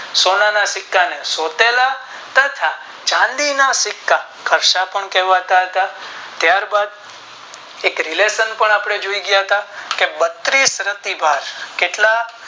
સોના ના સિક્કા ને સોતેલા તથા ચાંદી ના સિક્કા ઘરસપનામ કહેવાતા ત્યાર બાદ રક relation પણ જોયું ગયા થા કે બત્રીશ પ્રતિ ઘા